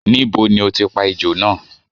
Níbo ni o ti pa ejò náà?